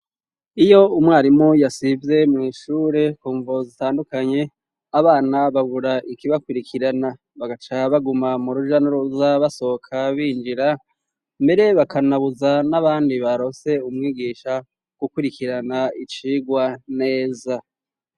Iyo umwarimu yasivye mw'ishure ku mvo zitandukanye, abana babura ikibakurikirana bagaca baguma mu rujanuruza ,basohoka binjira mbere bakanabuza n'abandi baronse umwigisha gukurikirana icigwa neza.